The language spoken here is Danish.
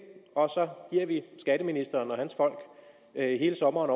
og så giver vi skatteministeren og hans folk hele sommeren